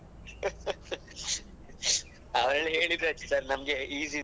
ಆವಾಗ್ಲೇ ಹೇಳಿದ್ರಾಯಿತು sir ನಮ್ಗೆ easy.